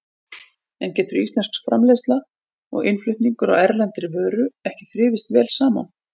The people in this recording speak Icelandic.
En getur íslensk framleiðsla og innflutningur á erlendri vöru ekki þrifist vel saman?